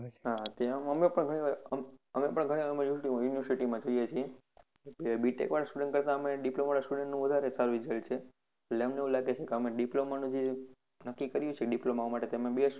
હમ ત્યાં અમે પણ શું છે, ઘણી બધી university માં જઈએ છીએ, BTECH વાળા students કરતા અમને diploma વાળા students નું વધારે સારું result છે એટલે અમને એવું લાગે છે કે અમે diploma નો જે નક્કી કરીએ છીએ diploma માટે કે અમે best